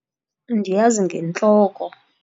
Ndiyazi ngentloko.